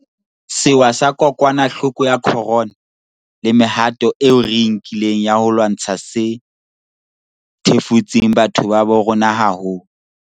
Sewa sa kokwanahloko ya corona le mehato eo re e nkileng ya ho e lwantsha se thefutse batho ba bo rona haholo.